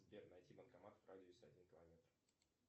сбер найти банкомат в радиусе один километр